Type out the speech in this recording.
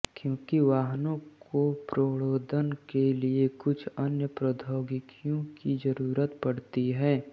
क्योंकि वाहनों को प्रणोदन के लिए कुछ अन्य प्रौद्योगिकियों की जरूरत पड़ती है